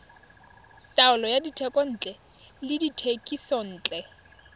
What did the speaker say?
taolo ya dithekontle le dithekisontle